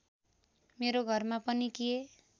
मेरो घरमा पनि के